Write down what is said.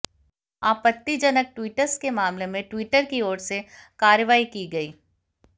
आपत्तिजनक ट्वीट्स के मामले में ट्विटर की ओर से कार्रवाई की गई